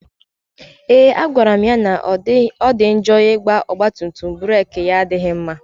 A gwara m ya na ọ dị njọ ịnya ọgba tum tum burek ya na-adịghị mma